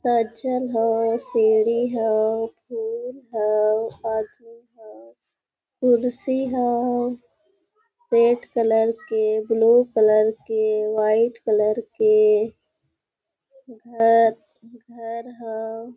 सचल हाओ सीढ़ी हाओ फूल हाओ आदमी हाओ कुर्सी हाओ पेंट कलर के ब्लू कलर के वाइट कलर के घर घर हाओ।